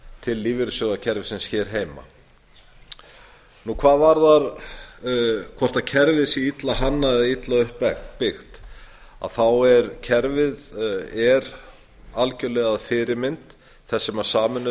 til lífeyrissjóðakerfisins hér heima hvað varðar hvort kerfið sé illa hannað eða illa uppbyggt er kerfið algjörlega að fyrirmynd þess sem sameinuðu